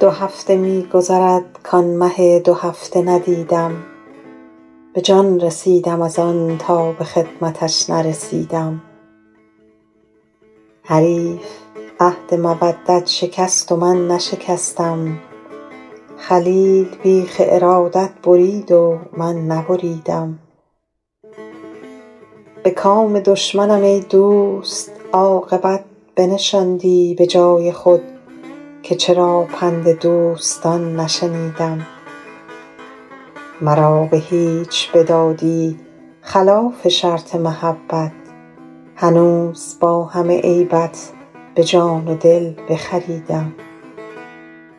دو هفته می گذرد کآن مه دوهفته ندیدم به جان رسیدم از آن تا به خدمتش نرسیدم حریف عهد مودت شکست و من نشکستم خلیل بیخ ارادت برید و من نبریدم به کام دشمنم ای دوست عاقبت بنشاندی به جای خود که چرا پند دوستان نشنیدم مرا به هیچ بدادی خلاف شرط محبت هنوز با همه عیبت به جان و دل بخریدم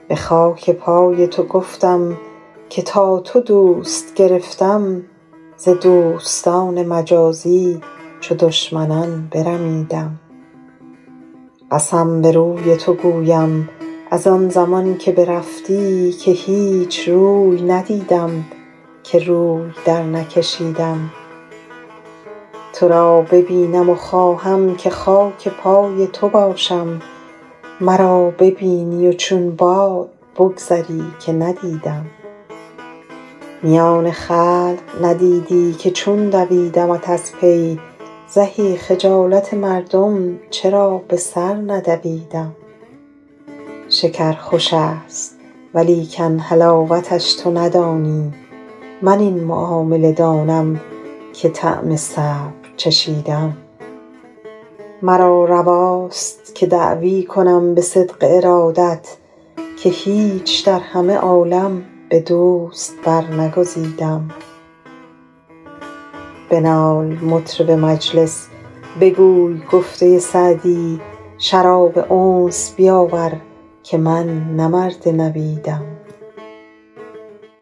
به خاک پای تو گفتم که تا تو دوست گرفتم ز دوستان مجازی چو دشمنان برمیدم قسم به روی تو گویم از آن زمان که برفتی که هیچ روی ندیدم که روی درنکشیدم تو را ببینم و خواهم که خاک پای تو باشم مرا ببینی و چون باد بگذری که ندیدم میان خلق ندیدی که چون دویدمت از پی زهی خجالت مردم چرا به سر ندویدم شکر خوش است ولیکن حلاوتش تو ندانی من این معامله دانم که طعم صبر چشیدم مرا رواست که دعوی کنم به صدق ارادت که هیچ در همه عالم به دوست برنگزیدم بنال مطرب مجلس بگوی گفته سعدی شراب انس بیاور که من نه مرد نبیدم